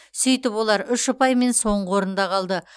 сөйтіп олар үш ұпаймен соңғы орында қалды